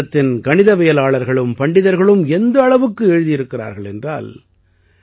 பாரதத்தின் கணிதவியலாளர்களும் பண்டிதர்களும் எந்த அளவுக்கு எழுதியிருக்கிறார்கள் என்றால்